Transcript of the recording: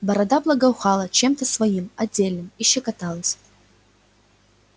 борода благоухала чем-то своим отдельным и щекоталась